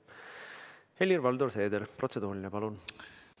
Helir-Valdor Seeder, protseduuriline, palun!